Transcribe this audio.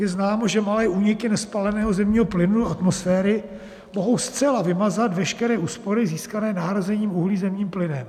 Je známo, že malé úniky nespáleného zemního plynu do atmosféry mohou zcela vymazat veškeré úspory získané nahrazením uhlí zemním plynem.